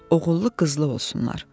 Oğullu qızlı olsunlar.